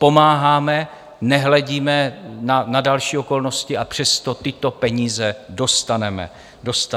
Pomáháme, nehledíme na další okolnosti, a přesto tyto peníze dostaneme zpátky.